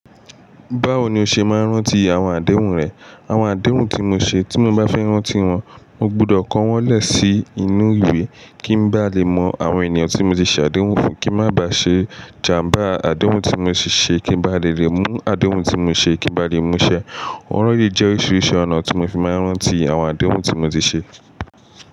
Báwo ni o ṣe máa ń rántí àwọn àdéhùn rẹ? Àwọn àdéhùn tí mo ṣe, tí mo maa fi n rántí wọn, mo gbọdọ̀ kọ́ wọn lẹ̀ sí inú ìwé kí n bá lè mọ àwọn ènìyàn tí mo ti ṣe àdéhùn fún, kí a má ba ṣe jàmbá àdéhùn tí mo ti ṣe, kí n bá lè rí mú àdéhùn tí mo ṣe, kí n bá lè mú ṣẹ. Ọ̀rọ̀ yìí jẹ́ oríṣiríṣi ọ̀nà tí mo fi máa ń rántí àwọn àdéhùn tí mo ti ṣe.